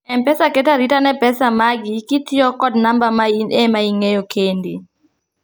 mpesa keto arita ne pesa magi kitiyo kod namba ma in ema ing'eyo kendi